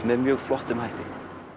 með mjög flottum hætti